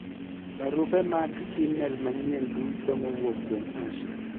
barupe mag email manyien duto mowuok kuom Asha